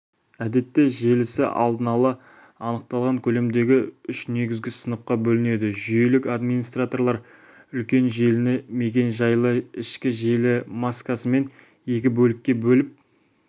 әдетте желісі алдын ала анықталған көлемдегі үш негізгі сыныпқа бөлінеді жүйелік администраторлар үлкен желіні мекен-жайлы ішкі желі маскасымен екі бөлікке бөліп